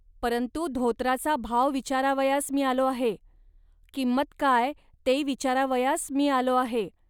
परंतु धोतराचा भाव विचारावयास मी आलो आहे. किंमत काय, ते विचारावयास मी आलो आहे